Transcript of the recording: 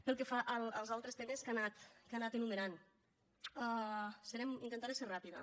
pel que fa als altres temes que ha anat enumerant intentaré ser ràpida